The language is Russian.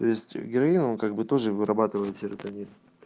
то есть героином он как бы тоже вырабатывает серотонин